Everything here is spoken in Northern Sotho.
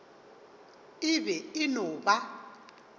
e be e no ba